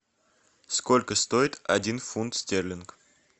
сколько стоит один фунт стерлинг